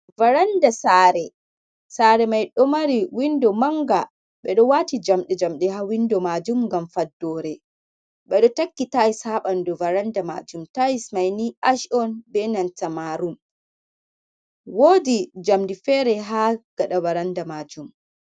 Varanda sare, sare mai ɗo mari windo manga, ɓe ɗo wati jamdi jamdi ha windo majum, ngam faddore ɓe ɗo takki tails ha ɓanɗu varanda majum, tais mai ni sh’on benanta marum wodi jamdi fere ha gaɗa varanda majum.